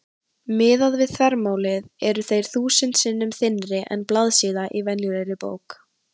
Miðað við þvermálið eru þeir þúsund sinnum þynnri en blaðsíða í venjulegri bók.